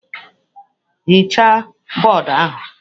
Hichaa bọọdụ ahụ!